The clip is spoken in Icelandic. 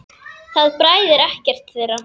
Það bræðir ekkert þeirra.